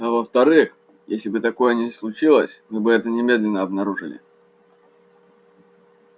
а во вторых если бы такое и случилось мы бы это немедленно обнаружили